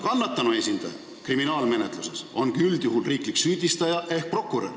Kannatanu esindaja kriminaalmenetluses on üldjuhul riiklik süüdistaja ehk prokurör.